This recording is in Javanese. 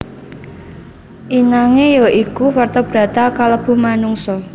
Inangé ya iku vertebrata kalebu manungsa